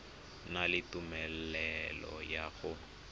na le tumelelo ya go